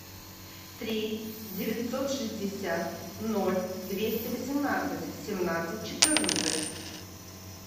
три девятьсот шестьдесят ноль двести восемнадцать семнадцать четырнадцать